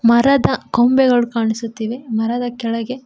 ಮರದ ಕೊಂಬೆಗಳು ಕಾಣಿಸುತ್ತಿವೆ ಮರದ ಕೆಳಗೆ--